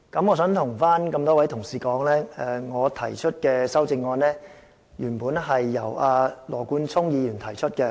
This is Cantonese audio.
我想對各位議員說，我提出的修正案原本是由羅冠聰議員提出的。